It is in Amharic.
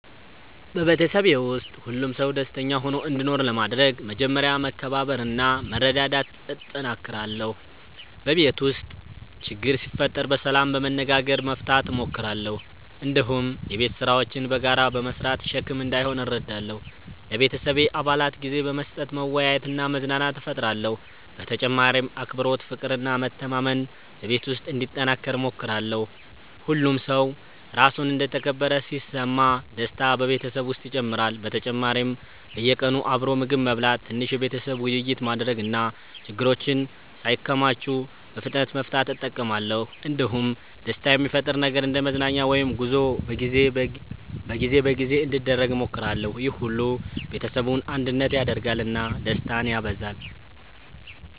በቤተሰቤ ውስጥ ሁሉም ሰው ደስተኛ ሆኖ እንዲኖር ለማድረግ መጀመሪያ መከባበርና መረዳዳት እጠነክራለሁ። በቤት ውስጥ ችግር ሲፈጠር በሰላም በመነጋገር መፍታት እሞክራለሁ። እንዲሁም የቤት ስራዎችን በጋራ በመስራት ሸክም እንዳይሆን እረዳለሁ። ለቤተሰቤ አባላት ጊዜ በመስጠት መወያየትና መዝናናት እፈጥራለሁ። በተጨማሪም አክብሮት፣ ፍቅር እና መተማመን በቤት ውስጥ እንዲጠናከር እሞክራለሁ። ሁሉም ሰው ራሱን እንደ ተከበረ ሲሰማ ደስታ በቤተሰብ ውስጥ ይጨምራል። በተጨማሪም በየቀኑ አብሮ ምግብ መብላት፣ ትንሽ የቤተሰብ ውይይት ማድረግ እና ችግሮችን ሳይከማቹ በፍጥነት መፍታት እጠቀማለሁ። እንዲሁም ደስታ የሚፈጥር ነገር እንደ መዝናኛ ወይም ጉዞ በጊዜ በጊዜ እንዲደረግ እሞክራለሁ። ይህ ሁሉ ቤተሰቡን አንድነት ያደርጋል እና ደስታን ያበዛል።